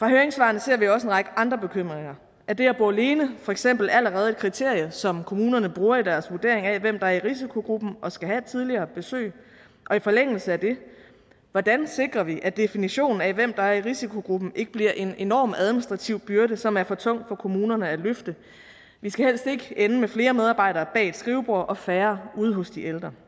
høringssvarene ser vi også en række andre bekymringer er det at bo alene for eksempel allerede et kriterie som kommunerne bruger i deres vurdering af hvem der er i risikogruppen og skal have et tidligere besøg og i forlængelse af det hvordan sikrer vi at definitionen af hvem der er i risikogruppen ikke bliver en enorm administrativ byrde som er for tung for kommunerne at løfte vi skal helst ikke ende med flere medarbejdere bag et skrivebord og færre ude hos de ældre